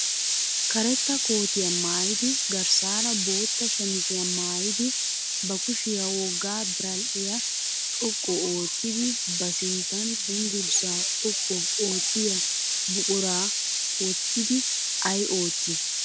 Karetta kootiya maayidi garssaara bootta shamiziya maayidi ba kushiya wogga biradhdhiya xoqqu oottidi ba sinttan cenggurssaa xoqqu oottiya buquraa wottidi ay oottii?